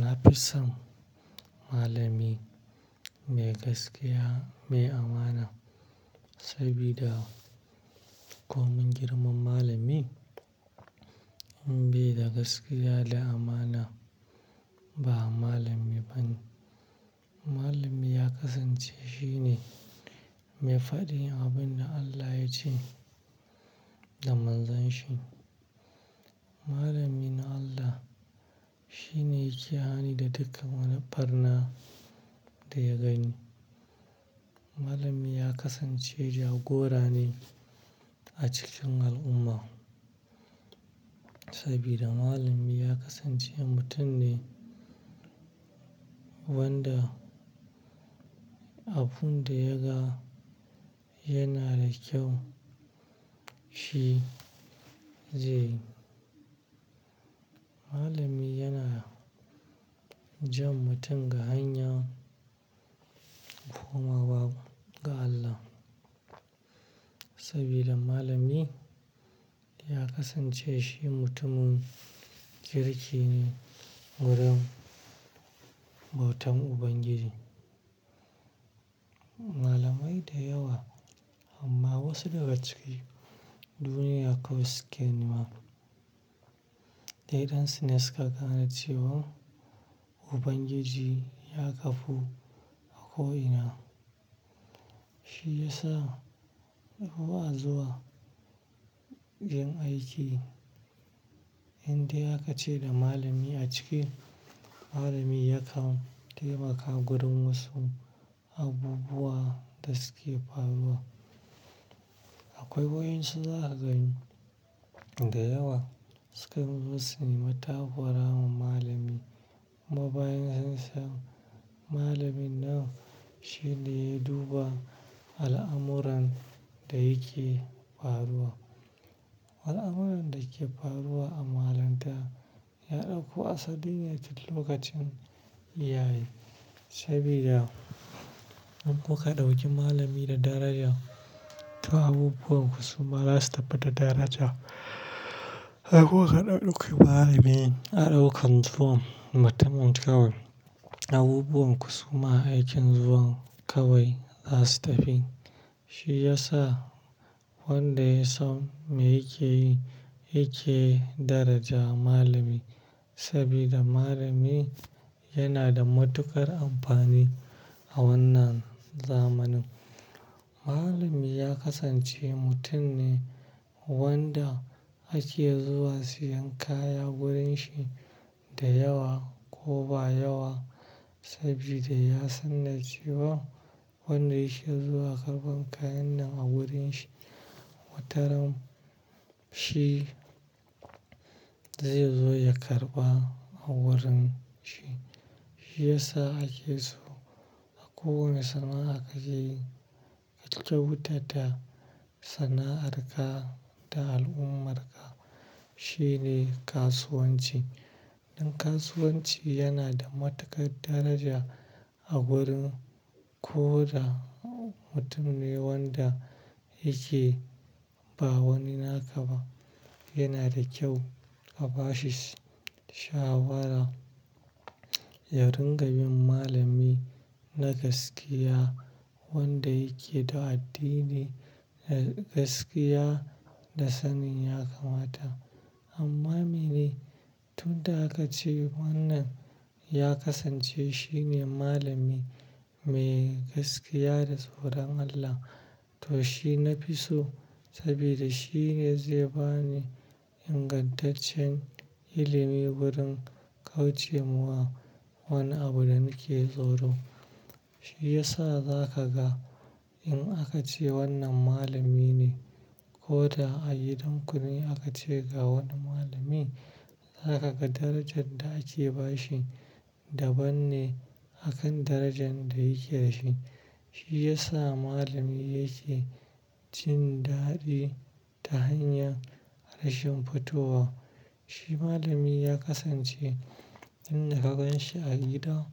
Na fi son malami mai gaskiya, mai amana saboda ko mun girmama malami bai da gaskiya da amana ba, ba malami ba ne. Malami ya kasance shine mai faɗin abin da Allah ya ce da manzon shi. Malamin Allah shine yake hani da duka wani ɓarna da ya gani. Malami ya kasance jagora ne a cikin al'umma saboda malami ya kasance mutum ne wanda abun da ya ga yana da kyau shi zai. Malami yana jan mutum ga hanya komawa ga Allah saboda malami ya kasance shi mutumin kirki ne wurin bautan Ubangiji. Malamai da yawa amma wasu daga cikin duniya kawai suke nema dai ɗan suna saka gane cewan Ubangiji ya ƙafu a ko ina. Shi ya sa in ba a zuwa yin aiki inda haka ce da malami a ciki malami yakan taimaka wurin wasu abubuwa da suke faruwa. Akwai wuraren su za su gani da yawa sukan nufi su takurawa malami. Kuma bayan sun san malamin nan shine ya duba al'amuran da yake faruwa. Al'amuran da ke faruwa a malinta ya ɗauko asaline tun lokacin ya yi saboda in kuka ɗauki malami da daraja to abubuwan ku suma za su tafi da daraja. Haka ko ka ɗauki malamin a ɗaukan zuwan mutumin kawai abubuwan ku suma a aikin zuwan kawai za su tafi. Shi ya sa wanda ya san me yake yi yake daraja malami saboda malami yana da matuƙar amfani a wannan zamanin. Malami ya kasance mutum ne wanda ake zuwa siyan kaya wurin shi da yawa ko ba yawa saboda ya sanar cewa wanda ya sha zuwa karɓan kayan nan a wurin shi wataran shi zai zo ya karɓa a wurin shi. Shi ya sa ake so a kowane sana'a ka yi kyautata sana'ar ka da al'ummar ka shine kasuwanci. Dan kasuwanci yana da matukar daraja a wurin ko da mutum ne wanda yake ba wani naka ba yana da kyau ka ba shi shawara. Ya ringa bin malami na gaskiya wanda yake da addini na gaskiya da sanin ya ka mata. Amma mene tun da haka ce wannan ya kasance shine malami mai gaskiya da tsoron Allah to shi na fi so saboda shi ne zai bani ingantaccen ilimi wurin kauce muwa wani abu da nake tsoro. Shi ya sa za ka ga in aka ce wannan malami ne ko da a gidan kune aka ce ga wani malami za ka ga darajan da ake bashi daban ne akan darajan da yake da shi. Shi ya sa malami yake cin daɗi ta hanyar rashin fitowa. Shi malami ya kasance in ka ganshi a gida